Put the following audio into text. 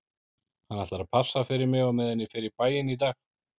Hann ætlar að passa fyrir mig á meðan ég fer í bæinn í dag